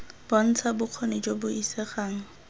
bontsha bokgoni jo bo isegang